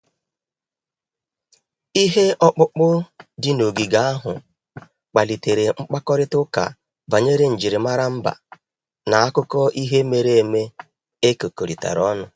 Ihe ọkpụkpụ dị n'ogige ahụ kpalitere mkparịta ụka banyere njirimara mba na akụkọ ihe mere eme e kekọrịta ọnụ.